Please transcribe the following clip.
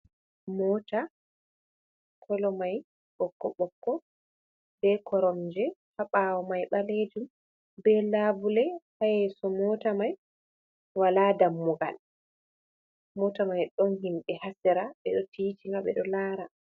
"Mota" kolo mai ɓokko ɓokko be koronje ha bawo mai balejum be labule ha yeso mota mai wala dammugal mota mai ɗon himɓe ha sera ɓe ɗo tiitinga ɓe ɗo lara.